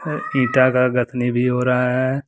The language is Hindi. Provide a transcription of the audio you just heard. ईटा का गथनी भी हो रहा है।